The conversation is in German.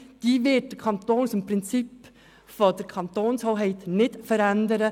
Diese wird der Kanton aufgrund des Prinzips der Kantonshoheit nicht verändern.